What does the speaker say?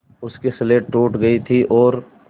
उसकी स्लेट टूट गई थी और